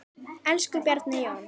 Elsku Bjarni Jón.